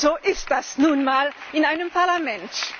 So ist das nun mal in einem Parlament!